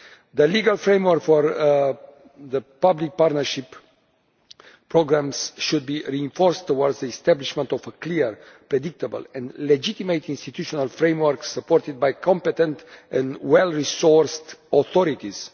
The legal framework for public partnership programs should be reinforced, with a view to establishing a clear, predictable and legitimate institutional framework supported by competent and well resourced authorities.